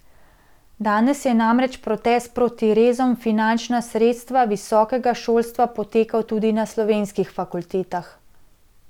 Danes je namreč protest proti rezom v finančna sredstva visokega šolstva potekal tudi na slovenskih fakultetah.